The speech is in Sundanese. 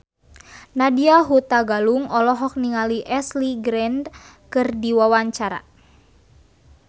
Nadya Hutagalung olohok ningali Ashley Greene keur diwawancara